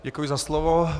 Děkuji za slovo.